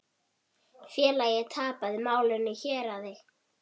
Félagið tapaði málinu í héraði.